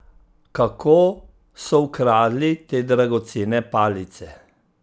Kako so ukradli te dragocene palice?